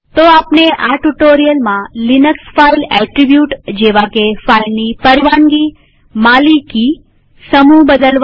તો આપણે આ ટ્યુ્ટોરીઅલમાં લિનક્સ ફાઈલ એટ્રીબ્યુટ જેવાકે ફાઈલની પરવાનગીમાલિકીસમૂહ બદલવા